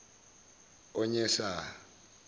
onyesa